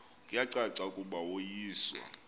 kuyacaca ukuba woyiswa